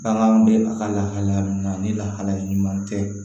Bagan bɛ a ka lahaliya min na ni lahalaya ɲuman tɛ